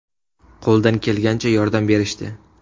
Qo‘ldan kelgancha yordam berishdi.